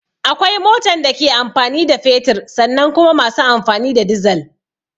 Akwai motan da ke amfani da fetur sannan kuma masu amfani da dizal